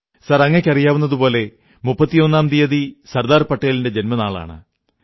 sir അങ്ങയ്ക്കറിയാവുന്നതുപോലെ 31ാം തീയതി സർദാർ പട്ടേലിന്റെ ജന്മനാളാണ്